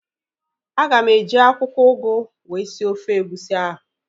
Aga m eji akwụkwọ ugu wee sie ofe egusi ahu